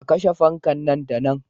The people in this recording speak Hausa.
A kashe fanka nan da nan.